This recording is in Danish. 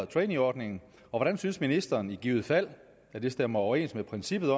traineeordningen og hvordan synes ministeren i givet fald at det stemmer overens med princippet